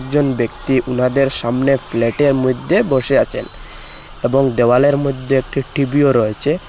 জন ব্যক্তি উনাদের সামনে ফ্ল্যাটের মইধ্যে বসে আছেন এবং দেওয়ালের মধ্যে একটি টিভিও রয়েছে।